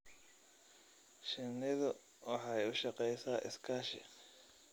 Shinnidu waxay u shaqeysaa iskaashi.